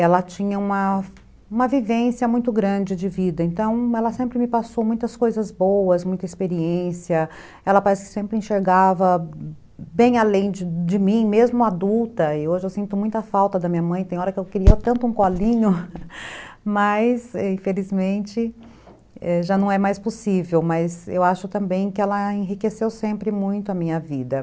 ela tinha uma, uma vivência muito grande de vida, então ela sempre me passou muitas coisas boas, muita experiência, ela parece que sempre enxergava bem além de de mim, mesmo adulta, e hoje eu sinto muita falta da minha mãe, tem hora que eu queria tanto um colinho, mas infelizmente já não é mais possível, mas eu acho também que ela enriqueceu sempre muito a minha vida.